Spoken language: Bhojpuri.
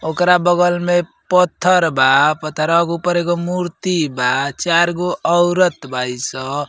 ओकरा बगल में पत्थर बा पत्थरवा के ऊपर एगो मूर्ति बा। चार गो औरत बाई स।